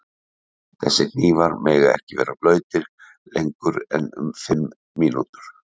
Þessir hnífar mega ekki vera blautir lengur en um fimm mínútur.